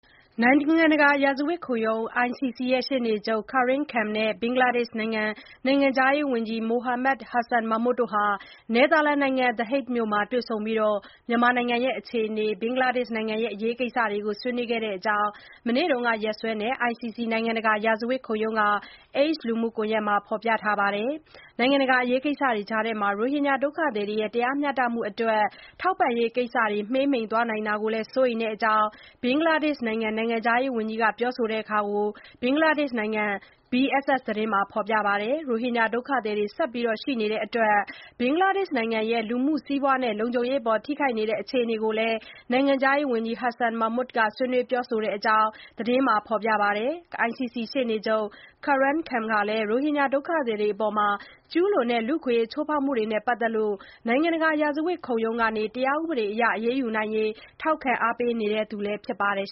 နိုင်ငံတကာ ရာဇဝတ်ခုံရုံး ICC ရှေ့နေချုပ် Karim Khan နဲ့ ဘင်္ဂလားဒေ့ရှ်နိုင်ငံ နိုင်ငံခြားရေးဝန်ကြီး Mohammed Hasan Mahmud တို့ နယ်သာလန်နိုင်ငံ The Hague မြို့မှာ တွေ့ဆုံပြီး မြန်မာနိုင်ငံအခြေအနေနဲ့ ဘင်္ဂလားဒေ့ရှ်နိုင်ငံ အရေးကိစ္စတွေ ဆွေးနွေးတဲ့အကြောင်း မနေ့က နေ့စွဲနဲ့ ICC နိုင်ငံတကာ ရာဇဝတ်ခုံရုံးက X လူမှုကွန်ယက်မှာ ရေးသားထားပါတယ်။ နိုင်ငံတကာ အရေးကိစ္စတွေကြားမှာ ရိုဟင်ဂျာ ဒုက္ခသည်တွေရဲ့ တရားမျှတမှုအတွက် ထောက်ပံ့ရေးကိစ္စတွေ မှေးမှိန်သွားတာကို စိုးရိမ်တဲ့အကြောင်း ဘင်္ဂလားဒေ့ရှ်နိုင်ငံ နိုင်ငံခြားရေးဝန်ကြီး Mohammed Hasan Mahmud က ပြောဆိုတာကို ဘင်္ဂလားဒေ့ရှ်နိုင်ငံ BSS သတင်းမှာလည်း ဖေါ်ပြပါတယ်။ ရိုဟင်ဂျာ ဒုက္ခသည်တွေ ဆက်ရှိနေတဲ့အတွက် ဘင်္ဂလားဒေ့ရှ်နိုင်ငံရဲ့ လူမှုစီးပွားနဲ့ လုံခြုံရေးအပေါ် ထိခိုက်နေတဲ့ အခြေအနေတွေကို နိုင်ငံခြားရေးဝန်ကြီး Mohammed Hasan Mahmud ဆွေးနွေးပြောဆိုတဲ့အကြောင်း သတင်းမှာ ဖေါ်ပြပါတယ်။ ICC ရှေ့နေချုပ် Karim Khan ဟာ ရိုဟင်ဂျာ ဒုက္ခသည်တွေအပေါ် ကျုးလွန်တဲ့ လူ့အခွင့်အရေးချိုးဖေါက်မှုတွေနဲ့ ပတ်သက်လို့ နိုင်ငံတကာ ရာဇဝတ်ခုံရုံးကနေ တရားဥပဒေအရ အရေးယူနိုင်ရေး ထောက်ခံအားပေးနေသူ ဖြစ်ပါတယ်